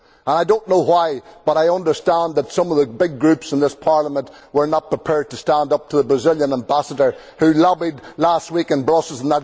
I do not know why, but I understand that some of the big groups in this Parliament were not prepared to stand up to the Brazilian Ambassador who lobbied last week in Brussels.